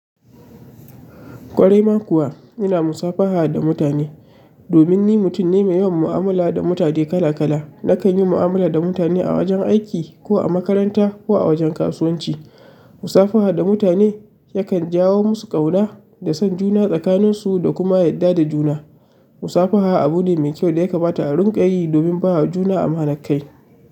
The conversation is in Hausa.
Ƙwarai ma kuwa ina musafaha da mutane. Domin ni mutum ne mai yawan mu'amala da mutane kala kala. Nakan yi mu'amala da mutane a wajen aiki ko a makaranta ko a wajen kasuwanci. Musafaha da mutane yakan jawo musu ƙauna da son juna tsakanin su da kuma yadda da juna. Musafaha abu ne mai kyau da ya kamata a rinƙa yi domin ba wa juna amanar kai.